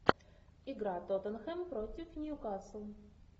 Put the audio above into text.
игра тоттенхэм против ньюкасл